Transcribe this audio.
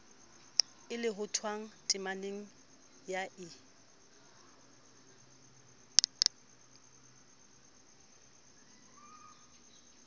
e lohothwang temaneng ya i